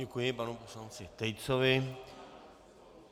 Děkuji panu poslanci Tejcovi.